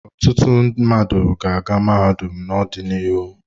Ọtụtụ mmadụ ga-aga mahadum n'ọdịnihu.